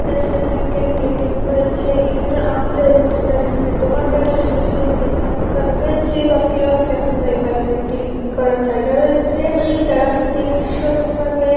এখানে state bank এর একটি এ.টি.এম. রয়েছে এখানে আমুল এর একটি আইসক্রিম এর দোকান রয়েছে সাথেসাথে মুদীখানার দোকান রয়েছে ।একটা লিঙ্ক করার জায়গা রয়েছে এই জায়গাটিতে ভীষণভাবে--